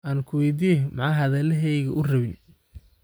Ankuweydiyex, maxaa hadhalaheygu uurawin.